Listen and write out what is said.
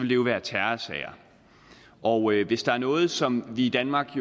jo være terrorsager og hvis der er noget som vi i danmark